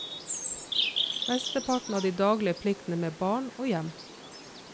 Mesteparten av de daglige pliktene med barn og hjem.